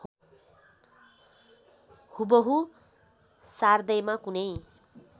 हुबहु सार्दैमा कुनै